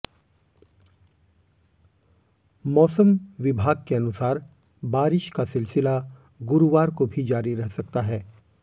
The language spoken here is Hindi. मौसम विभाग के अनुसार बारिश का सिलसिला गुरुवार को भी जारी रह सकता है